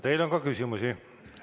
Teile on ka küsimusi.